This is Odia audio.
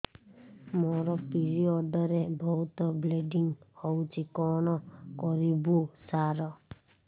ମୋର ପିରିଅଡ଼ ରେ ବହୁତ ବ୍ଲିଡ଼ିଙ୍ଗ ହଉଚି କଣ କରିବୁ ସାର